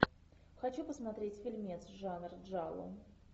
хочу посмотреть фильмец жанр джалло